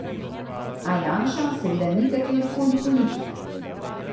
A Janša seveda ni katerikoli politik.